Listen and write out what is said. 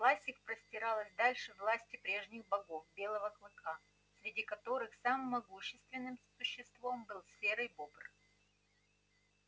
власть их простиралась дальше власти прежних богов белого клыка среди которых самым могущественным существом был серый бобр